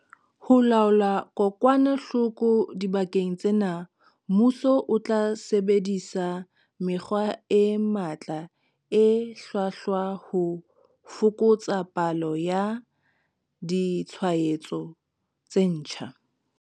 Ho laola kokwanahloko dibakeng tsena, mmuso o tla sebedisa mekgwa e matla e hlwahlwa ho fokotsa palo ya ditshwaetso tse ntjha.